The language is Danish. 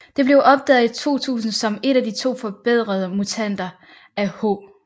Det blev opdaget i 2000 som et af to forbedrede mutanter af H